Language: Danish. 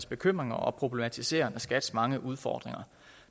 bekymringer og problematiseren af skats mange udfordringer